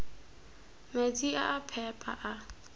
metsi a a phepa a